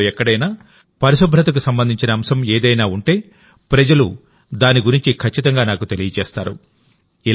దేశంలో ఎక్కడైనా పరిశుభ్రతకు సంబంధించిన అంశం ఏదైనా ఉంటేప్రజలు దాని గురించి ఖచ్చితంగా నాకు తెలియజేస్తారు